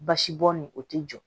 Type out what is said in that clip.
Basibɔn nin o tɛ jɔ